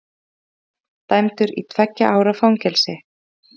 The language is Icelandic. Árásarmaður dæmdur í tveggja ára fangelsi